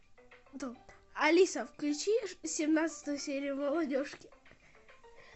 алиса включи семнадцатую серию молодежки